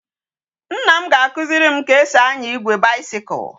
Nna m ga akuziri m ka esi anya igwe bicycle